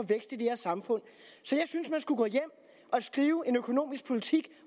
det her samfund så jeg synes man skulle gå hjem og skrive en økonomisk politik